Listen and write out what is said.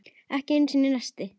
Ekki einu sinni neisti.